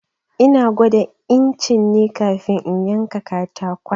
Ina gwada incin ne kafin in yanka katakon.